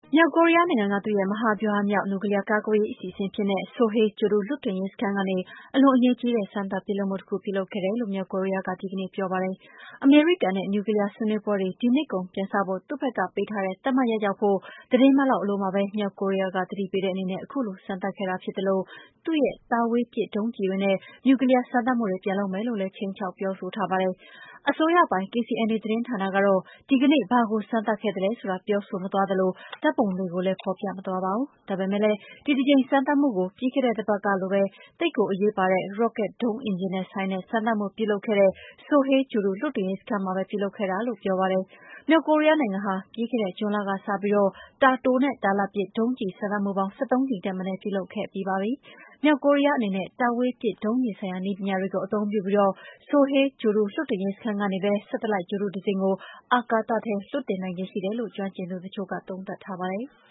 မြောက်ကိုရီးယားနိုင်ငံရဲ့ မဟာဗျူဟာမြောက် နျူကလီးယား ကာကွယ်ရေး အစီအစဉ်အဖြစ်နဲ့ Sohae ဂြိုဟ်တုလွှတ်တင်ရေး စခန်းကနေ အလွန်အရေးကြီးတဲ့ စမ်းသပ်ပစ်လွှတ်မှုတခု ပြုလုပ်ခဲ့တယ်လို့ မြောက်ကိုရီးယားက ဒီကနေ့ပြောပါတယ်။ အမေရိကန်နဲ့ နျူကလီးယား ဆွေးနွေးပွဲတွေ ဒီနှစ်ကုန်ပြန်စဖို့ သူ့ဘက်ကပေးထားတဲ့ သတ်မှတ်ရက်ရောက်ဖု့ိ သီတင်းပတ်လောက် အလိုမှာပဲ မြောက်ကိုရီးယားက သတိပေးတဲ့အနေနဲ့ ခုလို စမ်းသပ်ခဲ့တာဖြစ်သလို သူ့ရဲ့ တာဝေးပစ်ဒုံးကျည်တွေနဲ့ နျူကလီးယား စမ်းသပ်မှုတွေ ပြန်လုပ်မယ်လို့လည်း ခြိမ်းခြောက် ပြောဆိုထားပါတယ်။ အစိုးရပိုင် KCNA သတင်းဌာနကတော့ ဒီကနေ့ ဘာကိုစမ်းသပ်ခဲ့တာလဲဆိုတာ ပြောဆိုမသွားသလို ဓာတ်ပုံတွေကိုလည်း ဖော်ပြမသွားပါဘူး။ ဒါပေမယ့် ဒီတကြိမ် စမ်းသပ်မှုကိုလည်း ပြီးခဲ့တဲ့တပတ်ကပဲ သိပ်ကိုအရေးပါတဲ့ ရော့ကက်ဒုံးအင်ဂျင်နဲ့ ဆိုင်တဲ့ စမ်းသပ်မှုတခုကို ပြုလုပ်ခဲ့တဲ့ Sohae ဂြိုလ်တုလွှတ်တင်ရေးစခန်းမှာပဲ ပြုလုပ်ခဲ့တာလို့ ပြောပါတယ်။ မြောက်ကိုရီးယားနိုင်ငံဟာ ပြီးခဲ့တဲ့ ဇွန်လကစပြီး တာတိုနဲ့ တာလတ်ပစ် ဒုံးကျည်စမ်းသပ်မှုပေါင်း ၁၃ ကြိမ်ထက်မနည်း ပြုလုပ်ခဲ့ပြီးပါပြီ။ မြောက်ကိုရီးယားအနေနဲ့ တာဝေးပစ်ဒုံးကျည်ဆိုင်ရာ နည်းပညာတွေကို အသုံးပြုပြီး Sohae ဂြိုဟ်တုလွှတ်တင်ရေးစခန်းကနေပဲ Satellite ဂြိုလ်တုတစင်းကို အာကာသထဲ လွှတ်တင်နိုင်ခြေရှိတယ်လို့ ကျွမ်းကျင်သူတချို့က သုံးသပ်ထားပါတယ်။